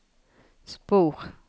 spor